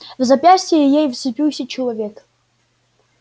в запястье ей вцепился человек